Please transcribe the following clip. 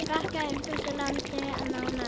Frakkar umbyltu landinu nánast.